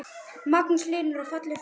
Magnús Hlynur: Og fallegur fiskur?